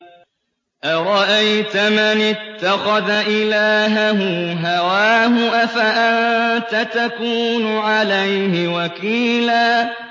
أَرَأَيْتَ مَنِ اتَّخَذَ إِلَٰهَهُ هَوَاهُ أَفَأَنتَ تَكُونُ عَلَيْهِ وَكِيلًا